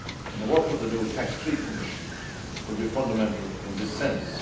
The work of the new TAXE 3 Commission will be fundamental in this sense.